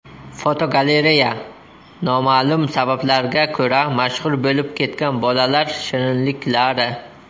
Fotogalereya: Noma’lum sabablarga ko‘ra mashhur bo‘lib ketgan bolalar shirinliklari.